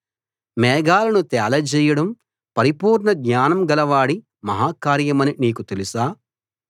మేఘాలను తేలజేయడం పరిపూర్ణ జ్ఞానం గలవాడి మహా కార్యమని నీకు తెలుసా